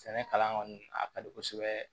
Sɛnɛ kalan kɔni a ka di kosɛbɛ